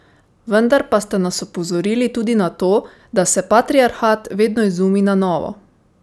Vendar pa ste nas opozorili tudi na to, da se patriarhat vedno izumi na novo ...